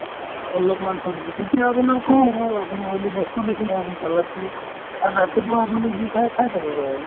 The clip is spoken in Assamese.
অলপমান ছব্জি তেতিয়া অকনমান কম হ'ল আপুনি oily বস্তুও বেছি নহয় আপুনি salad তো আৰু ৰাতিপুৱা আপুনি যি খাই খাই পেলাব আৰু